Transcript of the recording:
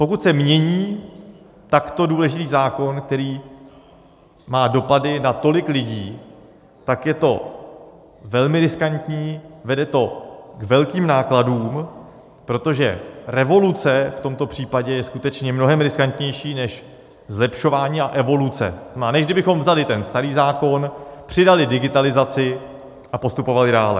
Pokud se mění takto důležitý zákon, který má dopady na tolik lidí, tak je to velmi riskantní, vede to k velkým nákladům, protože revoluce v tomto případě je skutečně mnohem riskantnější než zlepšování a evoluce, a než kdybychom vzali ten starý zákon, přidali digitalizaci a postupovali dále.